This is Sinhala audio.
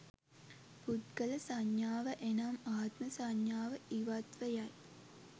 පුද්ගල සංඥාව එනම් ආත්ම සංඥාව ඉවත්ව යයි.